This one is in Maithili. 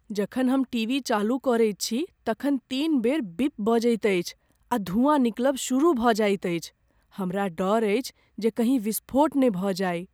जखन हम टीवी चालू करैत छी, तखन तीन बेर बीप बजैत अछि आ धुआँ निकलब शुरू भऽ जाएत अछि। हमरा डर अछि जे कहीं विस्फोट न भ जाइ ।